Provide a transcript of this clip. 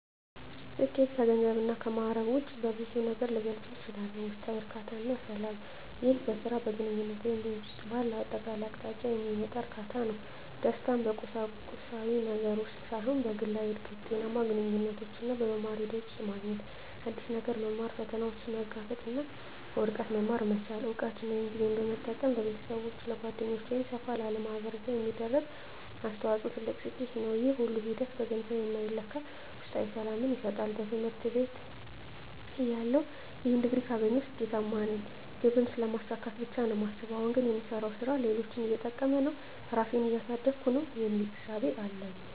ስኬት ከገንዘብ እና ከማእረግ ውጭ በብዙ ነገር ልገልፀው እችላልሁ። ውስጣዊ እርካታ እና ሰላም ይህ በሥራ፣ በግንኙነት ወይም በሕይወት ውስጥ ባለው አጠቃላይ አቅጣጫ የሚመጣ እርካታ ነው። ደስታን በቁሳዊ ነገር ውስጥ ሳይሆን በግላዊ እድገት፣ ጤናማ ግንኙነቶች እና በመማር ሂደት ውስጥ ማግኘት። አዲስ ነገር መማር፣ ፈተናዎችን መጋፈጥ እና ከውድቀት መማር መቻል። እውቀትን ወይም ጊዜን በመጠቀም ለቤተሰብ፣ ለጓደኞች ወይም ሰፋ ላለ ማኅበረሰብ የሚደረግ አስተዋጽኦ ትልቅ ስኬት ነው። ይህ ሁሉ ሂደት በገንዘብ የማይለካ ውስጣዊ ሰላምን ይሰጣል። በትምህርት ቤትተያለሁ "ይህን ዲግሪ ካገኘሁ ስኬታማ ነኝ" ግብን ስለማሳካት ብቻ ነው የማስበው። አሁን ግን "የምሰራው ሥራ ሌሎችን እየጠቀመ ነው? ራሴን እያሳደግኩ ነው?" የሚል እሳቤ ነው ያለኝ።